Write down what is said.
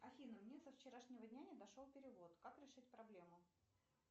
афина мне со вчерашнего дня не дошел перевод как решить проблему